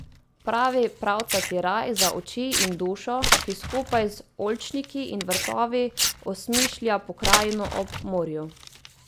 Pravi pravcati raj, za oči in dušo, ki skupaj z oljčniki in vrtovi osmišlja pokrajino ob morju.